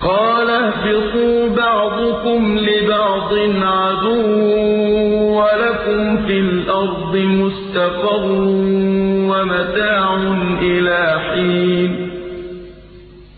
قَالَ اهْبِطُوا بَعْضُكُمْ لِبَعْضٍ عَدُوٌّ ۖ وَلَكُمْ فِي الْأَرْضِ مُسْتَقَرٌّ وَمَتَاعٌ إِلَىٰ حِينٍ